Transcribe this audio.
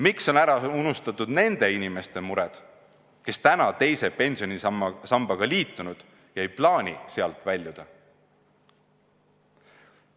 Miks on ära unustatud nende inimeste mured, kes on teise pensionisambaga liitunud ega plaani sealt väljuda?